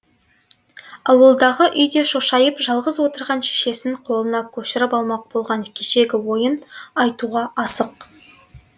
ауылдағы үйде шошайып жалғыз отырған шешесін қолына көшіріп алмақ болған кешегі ойын айтуға асық